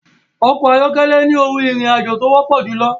Ọkọ̀ ayọ́kẹ́lẹ́ ni ohun ìrìn àjò tí ó wọ́pọ̀ júlọ.